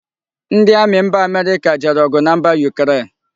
Ndi Ami mba America jere ogu na mba Ukraine